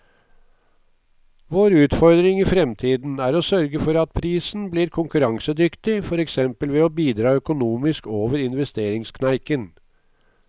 Vår utfordring i fremtiden er å sørge for at prisen blir konkurransedyktig, for eksempel ved å bidra økonomisk over investeringskneiken.